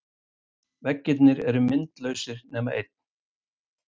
Veggirnir eru myndlausir nema einn.